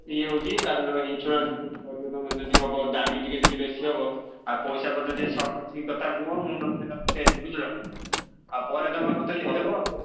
ଇଏ ହଉଛି ତା ଭିତରେ insurance ଫିନସୁରାନ୍ସ୍ କହିଲେ ଯଦି ହବ ଦାମୀ ଟିକେ ବେଶୀ ହବ ଆଉ ପଇସା ପତରଯଦି short ଆଛି କଥା କୁହ ମୁଁ ନହେଲେ ଦେମି ବୁଝିଲ ନା। ଆଉ ପରେ ତମେ ମତେ ଦେଇ ଦବ।